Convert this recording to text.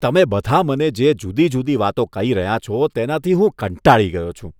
તમે બધા મને જે જુદી જુદી વાતો કહી રહ્યાં છો, તેનાથી હું કંટાળી ગયો છું.